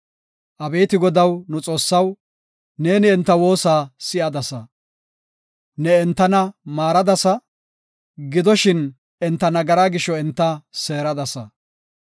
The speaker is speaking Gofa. Abeeti Godaw, nu Xoossaw, ne enta woosa si7adasa. Ne entana maaradasa; gidoshin, enta nagara gisho enta seeradasa.